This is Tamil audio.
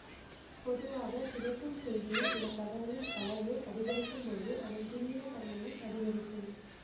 பொதுவாக கிடைக்கும் செய்தியில் உள்ள தகவலின் அளவு அதிகரிக்கும்போது அதன் துல்லிய தன்மையும் அதிகரிக்கும்